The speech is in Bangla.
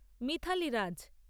মিথালি রাজ্